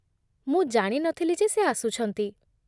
ମୁଁ ଜାଣି ନଥିଲି ଯେ ସେ ଆସୁଛନ୍ତି ।